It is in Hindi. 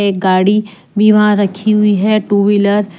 एक गाड़ी भी वहां रखी हुई है टू व्हीलर ।